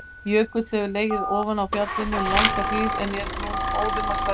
Jökull hefur legið ofan á fjallinu um langa hríð en er nú óðum að hverfa.